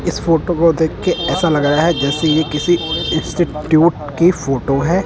इस फोटो को देखके ऐसा लग रहा है जैसे ये किसी इंस्टीट्यूट की फोटो है।